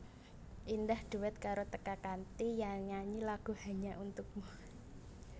Indah dhuet karo Teka kanthi nyanyi lagu Hanya Untukmu